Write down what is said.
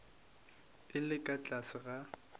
e le ka tlase ga